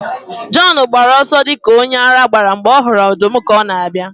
Jọn gbara ọsọ dị ka onye ara mgbe ọ hụrụ ọdụm ka ọ na-abịa